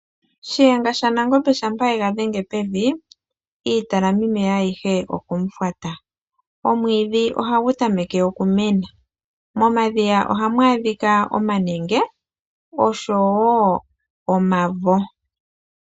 Shiyenga shaNamgombe shampa ye ga dhenge pevi, iitalamimeya ayihe okomufwata. Omwiidhi ohagu tameke okumena, momadhiya ohamu adhika omanenge osho wo omavo.